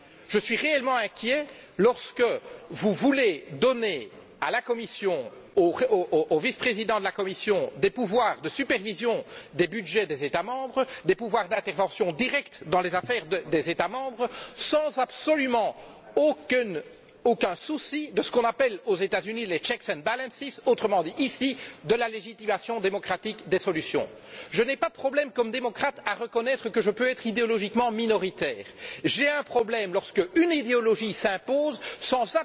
Je suis réellement inquiet lorsque vous voulez donner à la Commission, au vice président de la Commission, des pouvoirs de supervision des budgets des États membres, des pouvoirs d'intervention directe dans les affaires des États membres, sans aucun souci de ce qu'on appelle aux États Unis les checks and balances autrement dit de la légitimation démocratique des solutions. Je n'ai aucun problème, en tant que démocrate, à reconnaître que je peux être idéologiquement minoritaire. J'ai un problème lorsqu'une idéologie s'impose sans